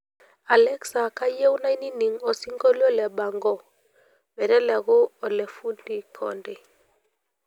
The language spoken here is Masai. alexa kayieu naining osinkolio le bango meteleku ole fundi konde